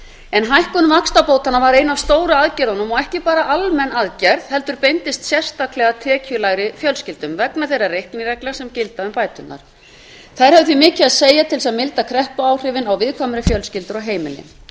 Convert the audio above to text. en hækkun vaxtabótanna var ein af stóru aðgerðunum og ekki bara almenn aðgerð heldur beindist sérstaklega að tekjulægri fjölskyldum vegna þeirra reiknireglna sem gilda um bæturnar þær höfðu því mikið að segja til að mynda kreppuáhrifin á viðkvæmari fjölskyldur og heimili